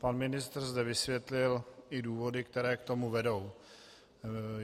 Pan ministr zde vysvětlil i důvody, které k tomu vedou.